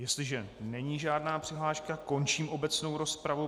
Jestliže není žádná přihláška, končím obecnou rozpravu.